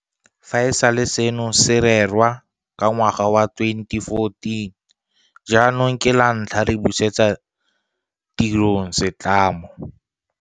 Fa e sale seno se rerwa ka ngwaga wa 2014 jaanong ke lantlha re busetsa tirong se tlamo